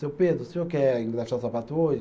Seu Pedro, o senhor quer engraxar o sapato hoje?